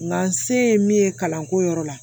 Nka n se ye min ye kalanko yɔrɔ la